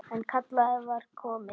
En kallið var komið.